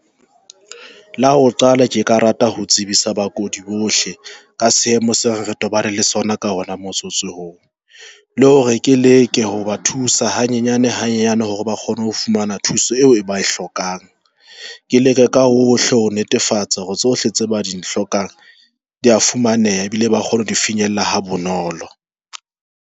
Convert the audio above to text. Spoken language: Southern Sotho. La ho qala ke ka rata ho tsebisa bakudi bohle ka seemo se re tobaneng le sona ka ona motsotso oo le hore ke leke hoba thusa hanyenyane hanyenyane hore ba kgone ho fumana thuso eo ba e hlokang. Ke leke ka hohle ho netefatsa hore tsohle tse ba di hlokang di a fumaneha ebile ba kgona ho di finyella ha bonolo.